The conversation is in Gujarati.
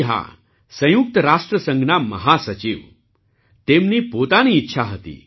જી હા સંયુક્ત રાષ્ટ્ર સંઘ ના મહા સચિવ તેમની પોતાની ઈચ્છા હતી